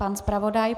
Pan zpravodaj.